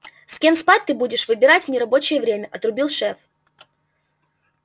с кем спать ты будешь выбирать в нерабочее время отрубил шеф